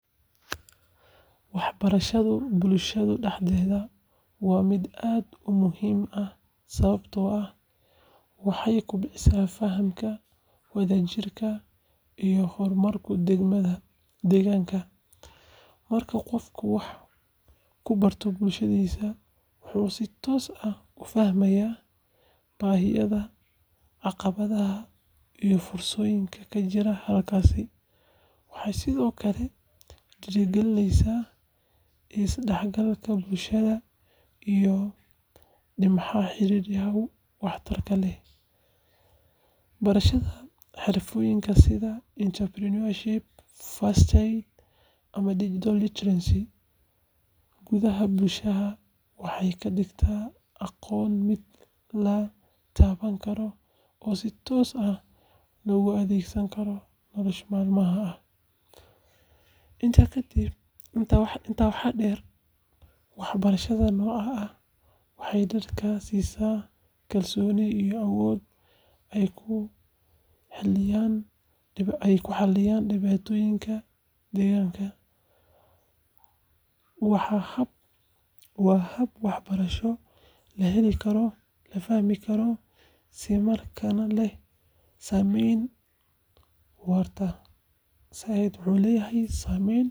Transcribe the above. Waxbarashada bulshada dhexdeeda waa mid aad u muhiim ah sababtoo ah waxay kobcisaa fahamka, wadajirka, iyo horumarka deegaanka. Marka qofku wax ku barto bulshadiisa, wuxuu si toos ah u fahmayaa baahiyaha, caqabadaha, iyo fursadaha ka jira halkaas. Waxay sidoo kale dhiirrigelisaa is-dhexgalka bulshada iyo dhismaha xiriirro waxtar leh. Barashada xirfado sida entrepreneurship, first aid, ama digital literacy gudaha bulshada waxay ka dhigtaa aqoonta mid la taaban karo oo si toos ah loogu adeegsan karo nolosha maalinlaha ah. Intaa waxaa dheer, waxbarashada noocaan ah waxay dadka siisaa kalsooni iyo awood ay ku xalliyaan dhibaatooyinka deegaanka. Waa hab waxbarasho la heli karo, la fahmi karo, isla markaana leh saameyn waarta.